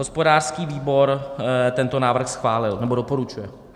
Hospodářský výbor tento návrh schválil, nebo doporučuje.